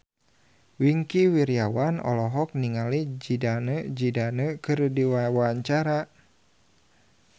Wingky Wiryawan olohok ningali Zidane Zidane keur diwawancara